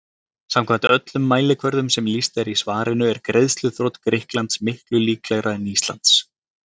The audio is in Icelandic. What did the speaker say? Samkvæmt öllum mælikvörðum sem lýst er í svarinu er greiðsluþrot Grikklands miklu líklegra en Íslands.